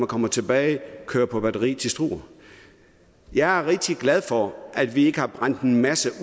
kommer tilbage køre på batteri til struer jeg er rigtig glad for at vi ikke har brændt en masse